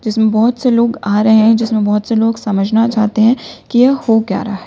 इसमें बहोत से लोग आ रहे हैं जिसमें बहोत से लोग समझना चाहते हैं की यह हो क्या रहा है।